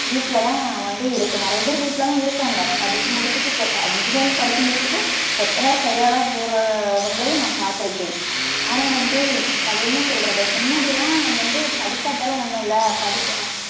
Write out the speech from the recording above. வீட்டில்தான் வந்து இரு~ நெறைய பேர் வீட்டிலதான் இருக்காங்க. படிச்சு முடிச்சிட்டு கொ~ engineering படிச்சு முடிச்சிட்டு கொத்தனார் கையாள போறவங்களையும் நான் பார்த்திருக்கேன். ஆனா வந்து அதென்ன சொல்றது மின்னாடிலாம் வந்து படிக்காட்டாலும் ஒண்ணுல்ல படிச்~